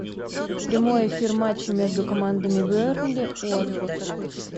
прямой эфир матча между командами бернли уотфорд